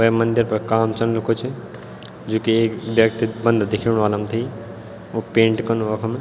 वे मंदिर पर काम चलणु कुछ जू की एक व्यक्ति बंदा दिखेणु वाल हमथे वू पेंट कनु वखम।